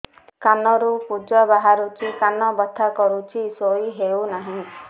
କାନ ରୁ ପୂଜ ବାହାରୁଛି କାନ ବଥା କରୁଛି ଶୋଇ ହେଉନାହିଁ